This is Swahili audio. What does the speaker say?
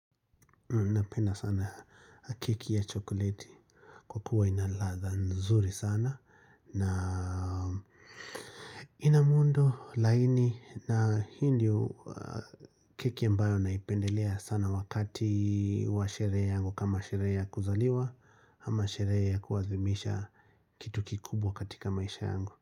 Napenda sana keki ya chokoleti kwa kuwa ina ladha nzuri sana na ina muundo laini na hii ndio keki ambayo naipendelea sana wakati wa sherehe yangu kama sherehe ya kuzaliwa ama sherehe ya kuadhimisha kitu kikubwa katika maisha yangu.